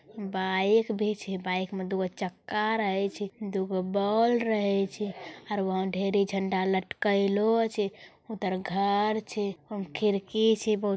बाइक भी छे | बाइक मे दूगो चक्का रहे छे | दूगो बॉल रही छे और वहाँ ढेरी झंडा लटकैलो छे | उधर घर छे उमे खिड़की छे बहुत --